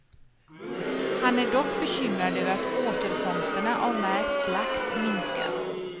Han är dock bekymrad över att återfångsterna av märkt lax minskar.